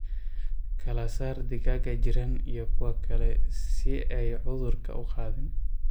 Kala saar digaaga jiran iyo kuwa kale si aay cudhurka u qaadin.